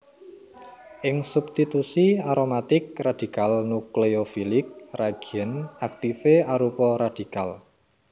Ing substitusi aromatik radikal nukleofilik reagen aktifé arupa radikal